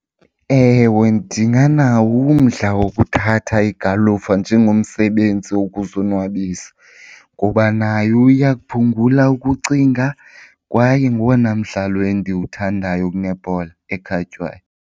Ewe, ndinganawo umdla wokuthatha igalufa njengomsebenzi wokuzonwabisa ngoba nayo iya kuphungula ukucinga kwaye ngowona mdlalo endiwuthandayo kunebhola ekhatywayo.